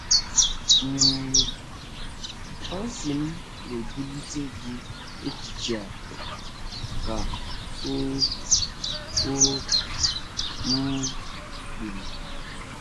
um “ Fancy m na-ebulite gị echiche a, ” ka o o um kwuru.